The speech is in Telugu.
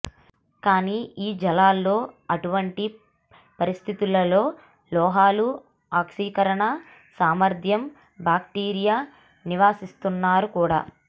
కానీ ఈ జలాల్లో అటువంటి పరిస్థితులలో లోహాలు ఆక్సీకరణ సామర్థ్యం బాక్టీరియా నివసిస్తున్నారు కూడా